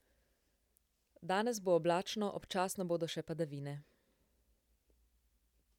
Danes bo oblačno, občasno bodo še padavine.